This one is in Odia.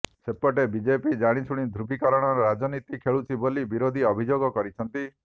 ସେପଟେ ବିଜେପି ଜାଣିଶୁଣି ଧ୍ରୁବୀକରଣର ରାଜନୀତି ଖେଳୁଛି ବୋଲି ବିରୋଧୀ ଅଭିଯୋଗ କରିଛନ୍ତି